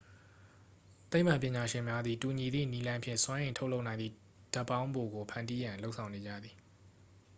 သိပ္ပံပညာရှင်များသည် တူညီသည့်နည်းလမ်းဖြင့် စွမ်းအင်ထုတ်လုပ်နိုင်သည့် ဓာတ်ပေါင်းဖိုကို ဖန်တီးရန် လုပ်ဆောင်နေကြသည်